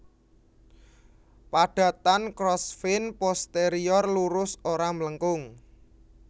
Padatan Crossvein posterior lurus ora mlengkung